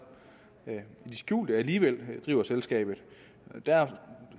i det skjulte alligevel driver selskabet der